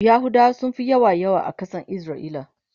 yahudawa sunfi yawa yawa a Kasan isra'ila